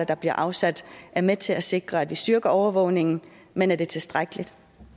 der bliver afsat er med til at sikre at vi styrker overvågningen men er det tilstrækkeligt